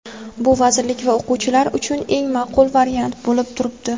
Bu vazirlik va o‘quvchilar uchun eng maqbul variant bo‘lib turibdi.